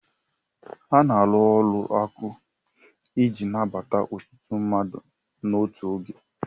A na alụ ụlọ akụ iji nabata ọtụtụ mmadụ n'otu oge